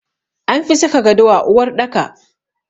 An fi saka gado a uwarɗaka.